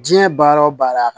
Diɲɛ baara o baara